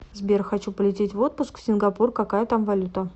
сбер хочу полететь в отпуск в сингапур какая там валюта